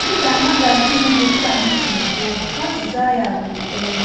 Dị ka magazin bụ́ Time si kwuo, azịza ya bụ ee.